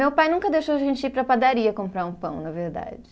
Meu pai nunca deixou a gente ir para a padaria comprar um pão, na verdade.